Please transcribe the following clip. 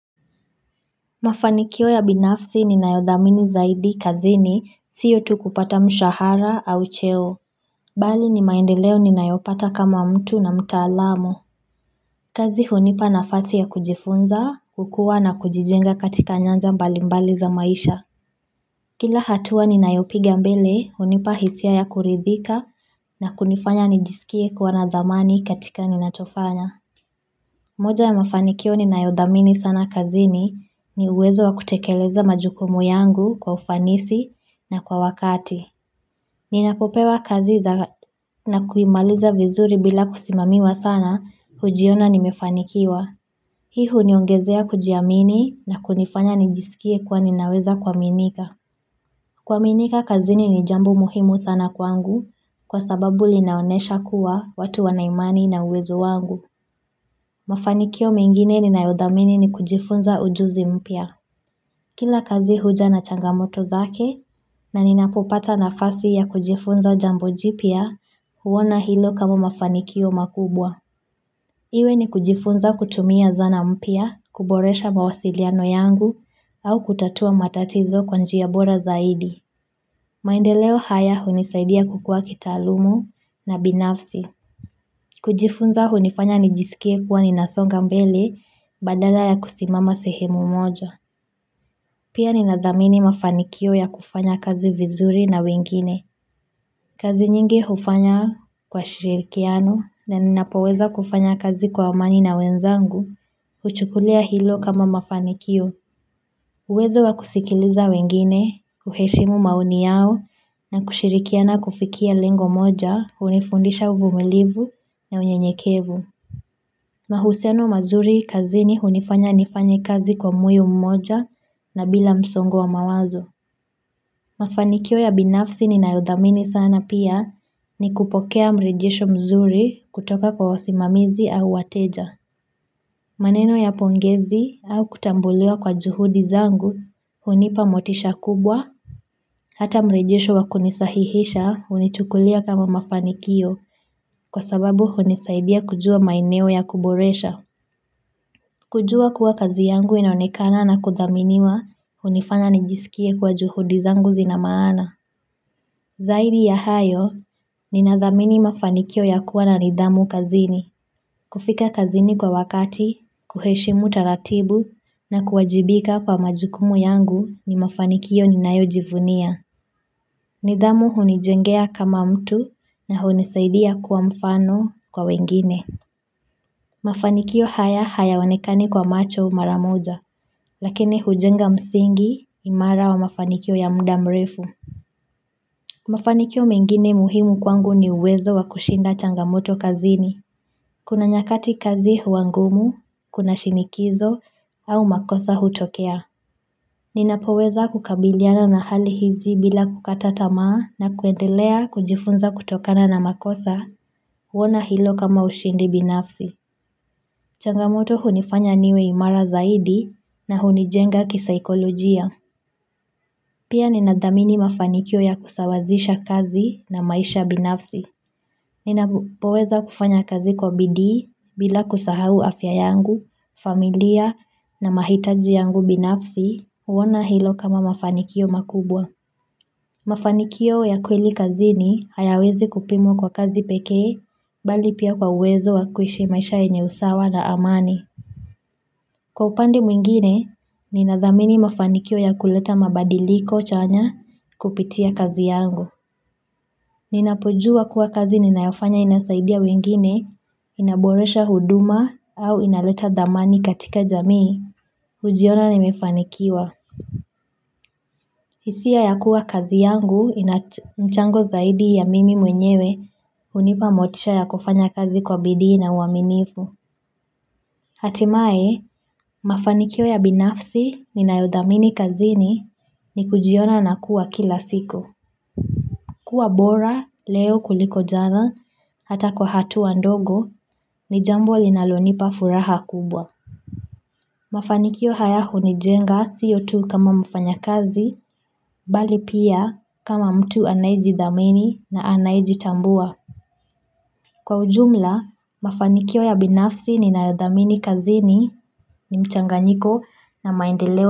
Mafanikio ya binafsi ninayodhamini zaidi kazini, sio tu kupata mshahara au cheo, bali ni maendeleo ninayopata kama mtu na mtaalamu. Kazi hunipa nafasi ya kujifunza, kukua na kujijenga katika nyanja mbali mbali za maisha. Kila hatua ninayopiga mbele, hunipa hisia ya kuridhika na kunifanya nijisikie kuwa na dhamani katika ninachofanya. Moja ya mafanikio ninayo dhamini sana kazini, ni uwezo wa kutikeleza majukumu yangu kwa ufanisi, na kwa wakati. Ninapopewa kazi za na kuimaliza vizuri bila kusimamiwa sana hujiona nimefanikiwa. Hii huniongezea kujiamini, na kunifanya ninijisikie kuwa ninaweza kuaminika. Kuaminika kazini ni jambo muhimu sana kwangu, kwa sababu linaonesha kuwa, watu wanaimani na uwezo wangu. Mafanikio mengine ninayodhamini ni kujifunza ujuzi mpya. Kila kazi huja na changamoto zake, na ninapopata nafasi ya kujifunza jambo jipya huona hilo kama mafanikio makubwa. Iwe ni kujifunza kutumia zana mpya, kuboresha mawasiliano yangu, au kutatua matatizo kwa njia bora zaidi. Maendeleo haya hunisaidia kukua kitaalumu na binafsi. Kujifunza huninifanya ninijisikie kuwa ninasonga mbele badala ya kusimama sehemu moja. Pia ninadhamini mafanikio ya kufanya kazi vizuri na wengine. Kazi nyingi hufanya kwa shiririkiano, na ninapoweza kufanya kazi kwa amani na wenzangu, huchukulia hilo kama mafanikio. Uwezo wa kusikiliza wengine, kuheshimu maoni yao na kushirikiana kufikia lengo moja huninifundisha umilivu na unyenyekevu. Mahusiano mazuri kazini hunifanya nifanye kazi kwa moyo moja na bila msongo wa mawazo. Mafanikio ya binafsi ninayodhamini sana pia, ni kupokea mrejisho mzuri kutoka kwa wasimamizi au wateja. Maneno ya pongezi, au kutambulia kwa juhud izangu hunipa motisha kubwa. Hata mrejisho wa kunisahihisha huninichukulia kama mafaniko, kwa sababu huninisaidia kujua maeneo ya kuboresha. Kujua kuwa kazi yangu inaonekana na kudhaminiwa, hunifanya nijisikie kuwa juhudi zangu zina maana. Zaidi ya hayo, ninadhamini mafanikio ya kuwa na nidhamu kazini. Kufika kazini kwa wakati, kuheshimu taratibu na kuwajibika kwa majukumu yangu, ni mafanikio ninayojivunia. Nidhamu hunijengea kama mtu, na hunisaidia kuwa mfano kwa wengine. Mafanikio haya hayaonekani kwa macho mara moja, lakini hujenga msiingi imara wa mafanikio ya muda mrefu. Mafanikio mengine muhimu kwangu, ni uwezo wa kushinda changamoto kazini. Kuna nyakati kazi huwa ngumu, kuna shinikizo, au makosa hutokea. Ninapoweza kukabiliana na hali hizi bila kukata tamaa na kuendelea kujifunza kutokana na makosa, huona hilo kama ushindi binafsi. Changamoto hunifanya niwe imara zaidi, na hunijenga kisaikologia. Pia ninadhamini mafanikio ya kusawazisha kazi na maisha binafsi. Ninapoweza kufanya kazi kwa bidii, bila kusahau afya yangu, familia na mahitaji yangu binafsi, huona hilo kama mafanikio makubwa. Mafanikio ya kweli kazini hayawezi kupimwa kwa kazi pekee, mbali pia kwa uwezo wa kuishi maisha yenye usawa na amani. Kwa upande mwengine, ninadhamini mafanikio ya kuleta mabadiliko chanya, kupitia kazi yangu. Ninapojua kuwa kazi ninayofanya inasaidia wengine, inaboresha huduma au inaleta dhamani katika jamii, hujiona nimefanikiwa. Hisia ya kuwa kazi yangu, inamchango zaidi ya mimi mwenyewe, hunipa motisha ya kufanya kazi kwa bidii na uaminifu. Hatimaye, mafanikio ya binafsi ninayodhamini kazini, ni kujiona na kuwa kila siku. Kuwa bora leo kuliko jana, hata kwa hatua ndogo, ni jambo linalonipa furaha kubwa. Mafanikio haya hunijenga sio tu kama mfanyakazi, mbali pia kama mtu anayejidhamini na anayejitambua. Kwa ujumla mafanikio ya binafsi ninayodhamini kazini, ni mchanganyiko na maendeleo.